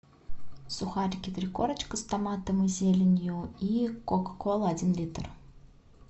сухарики три корочка с томатом и зеленью и кока кола один литр